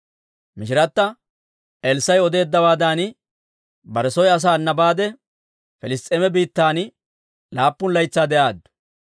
Mishirata Elssaa'i odeeddawaadan bare soy asaana baade, Piliss's'eema biittan laappun laytsaa de'aaddu.